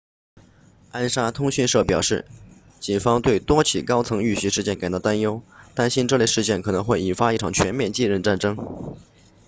安莎通讯社表示警方对多起高层遇袭事件感到担忧担心这类事件可能会引发一场全面继任战争